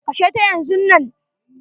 Kashe ta yanzunnan.